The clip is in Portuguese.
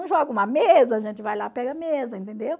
Um joga uma mesa, a gente vai lá e pega a mesa, entendeu?